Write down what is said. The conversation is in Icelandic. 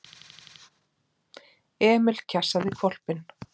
Emil kjassaði hvolpinn.